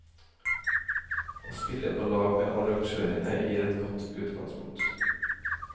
Å spille på lag med arrangørene gir et godt utgangspunkt.